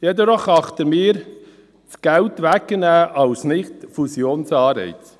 Geld wegzunehmen erachten wir jedoch als Nicht-Fusionsanreiz.